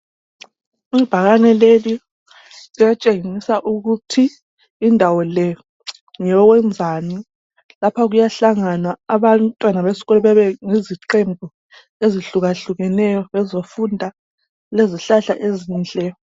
Ibhakane leli liyatshengisa ukuthi indawo le ngeyokwenzani lapha kuyahlanganwa abantwana besikolo bebe yiziqembu ezihluka hlukeneyo bezofunda lezihlahla ezinhle.